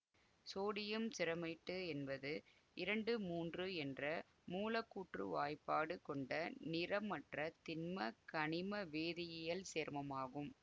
sodium germanate என்பது இரண்டு மூன்று என்ற மூலக்கூற்று வாய்ப்பாடு கொண்ட நிறமற்ற திண்ம கனிம வேதியியல் சேர்மமாகும்